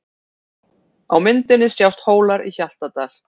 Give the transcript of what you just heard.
Á myndinni sjást Hólar í Hjaltadal.